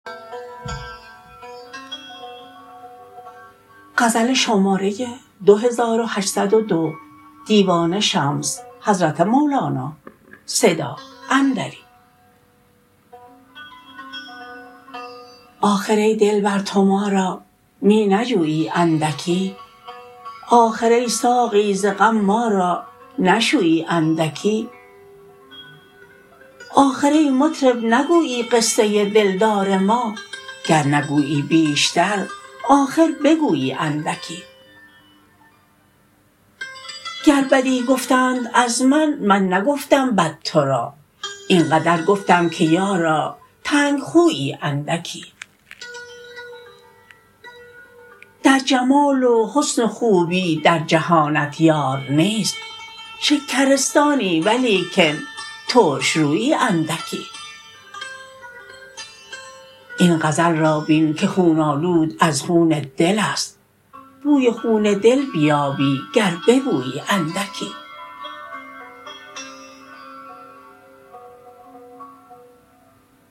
آخر ای دلبر تو ما را می نجویی اندکی آخر ای ساقی ز غم ما را نشویی اندکی آخر ای مطرب نگویی قصه دلدار ما گر نگویی بیشتر آخر بگویی اندکی گر بدی گفتند از من من نگفتم بد تو را این قدر گفتم که یارا تنگ خویی اندکی در جمال و حسن و خوبی در جهانت یار نیست شکرستانی ولیکن ترش رویی اندکی این غزل را بین که خون آلود از خون دل است بوی خون دل بیابی گر ببویی اندکی